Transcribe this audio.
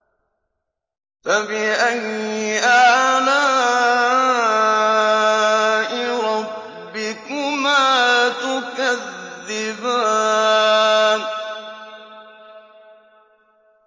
فَبِأَيِّ آلَاءِ رَبِّكُمَا تُكَذِّبَانِ